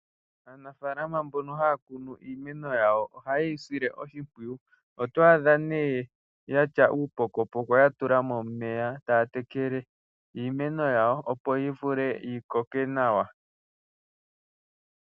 Aanafaalama mbono haya kunu iimeno yawo ohaye yi sile oshimpwiyu oto adha nee yatya uupokopoko yatula mo omeya taya tekele iimeno yawo opo yi vule yi koke nawa.